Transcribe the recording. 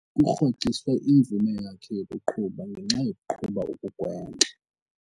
Kurhoxiswe imvume yakhe yokuqhuba ngenxa yokuqhuba okugwenxa.